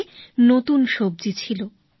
থালায় নতুন সবজি ছিল